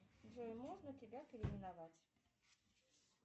джой можно тебя переименовать